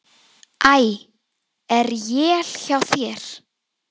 Æ. Er él hjá þér!